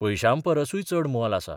पयशांपरसूय चड मोल आसा.